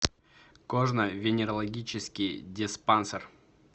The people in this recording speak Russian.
кожно венерологический диспансер